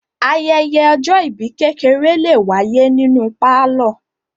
Ayẹyẹ ọjọ́-ìbí kékeré lè wáyé nínú pálọ̀.